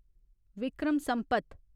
Vikram Sampath